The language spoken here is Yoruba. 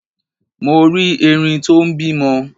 Mo rí Erin tó n bímọ